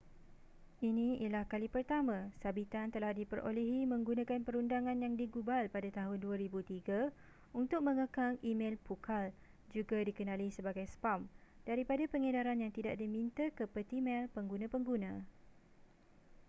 ini ialah kali pertama sabitan telah diperolehi menggunakan perundangan yang digubal pada tahun 2003 untuk mengekang e-mel pukal juga dikenali sebagai spam daripada pengedaran yang tidak diminta ke peti mel pengguna-pengguna